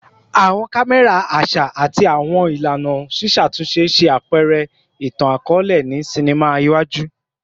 Awọn kamẹra aṣa ati awọn ilana ṣiṣatunṣe ṣe apẹrẹ itan-akọọlẹ ni sinima iṣaaju